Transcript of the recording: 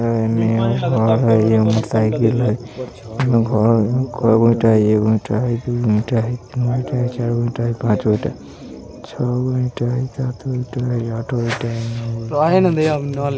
अ एमे हई एमे साइकिल हई ईटा हई कैगो ईटा हई एगो ईटा हई दूगो ईटा हई तीनगो ईटा हई चारगो ईटा हई पाँच गो ईटा हई छोगा ईटा हई सात गो ईटा हई आठ गो ईटा हई नौ गो ईटा हई।